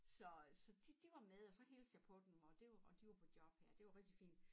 Så så de de var med og så hilste jeg på dem og det var og de var på job her og det var rigtig fint